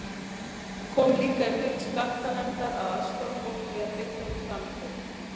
Það kom líka í hlut skattanefndar að aðstoða fólk við að fylla út framtöl.